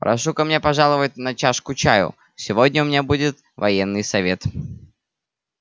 прошу ко мне пожаловать на чашку чаю сегодня у меня будет военный совет